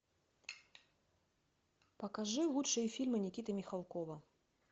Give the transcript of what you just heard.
покажи лучшие фильмы никиты михалкова